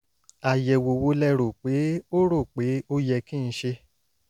àyẹ̀wò wo lẹ rò pé ó rò pé ó yẹ kí n ṣe?